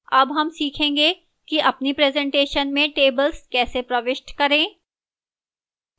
अब हम सीखेंगे कि अपनी presentation में tables कैसे प्रविष्ट करें